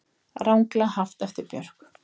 Ranglega haft eftir Björk